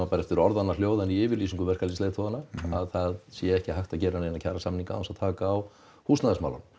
orðanna hljóðra í yfirlýsingu að það sé ekki hægt að gera neina kjarasamninga án þess að taka á húsnæðismálum